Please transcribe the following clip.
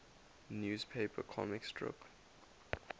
newspaper comic strip